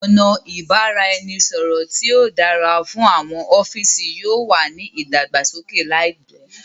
ọna ibaraẹnisọrọ ti o dára fún àwọn ọfiisi yóò wá ní ìdàgbàsókè láìpé